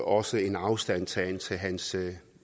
også en afstandtagen til hans